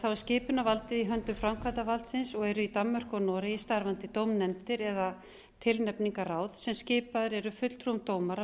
skipunarvaldið í höndum framkvæmdarvaldsins og eru í danmörku og noregi starfandi dómnefndir eða tilnefningarráð sem skipaðir eru fulltrúum dómara